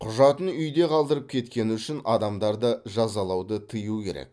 құжатын үйде қалдырып кеткені үшін адамдарды жазалауды тыю керек